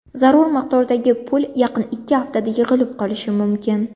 Zarur miqdordagi pul yaqin ikki haftada yig‘ilib qolishi mumkin.